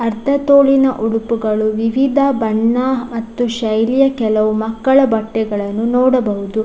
ಅರ್ಧ ತೋಳಿನ ಉಡುಪುಗಳು ವಿವಿಧ ಬಣ್ಣ ಮತ್ತು ಶೈಲಿಯ ಕೆಲವು ಮಕ್ಕಳ ಬಟ್ಟೆಗಳನ್ನು ನೋಡಬಹುದು.